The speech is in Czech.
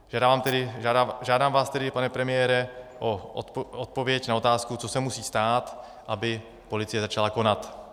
Žádám vás tedy, pane premiére, o odpověď na otázku, co se musí stát, aby policie začala konat.